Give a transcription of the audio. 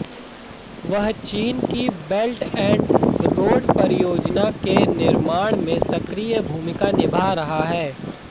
वह चीन की बेल्ट एंड रोड परियोजना के निर्माण में सक्रिय भूमिका निभा रहा है